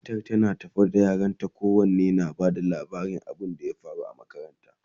matan tana tafe da yaranta kowanne na ta Bata labarin abun da ya faru a makaranta